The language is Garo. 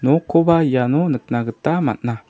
nokkoba iano nikna gita man·a.